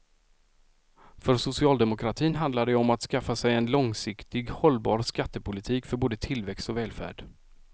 För socialdemokratin handlar det om att skaffa sig en långsiktigt hållbar skattepolitik för både tillväxt och välfärd.